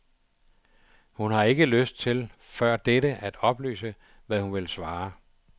Hun har ikke lyst til før dette at oplyse, hvad hun vil svare.